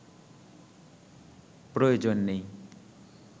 প্রয়োজন নেই